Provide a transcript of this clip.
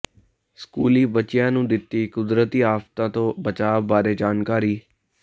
ਸਕੂਲੀ ਬੱਚਿਆਂ ਨੂੰ ਦਿਤੀ ਕੁਦਰਤੀ ਆਫਤਾਂ ਤੋਂ ਬਚਾਅ ਬਾਰੇ ਜਾਣਕਾਰੀ